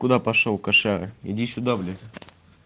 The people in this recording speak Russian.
куда пошёл кошара иди сюда блять